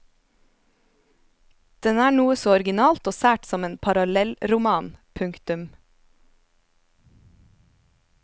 Den er noe så originalt og sært som en parallellroman. punktum